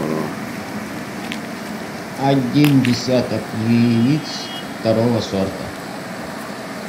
один десяток яиц второго сорта